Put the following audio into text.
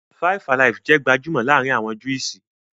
"Fivealive" jẹ́ gbajúmọ̀ laarin awọn Juísì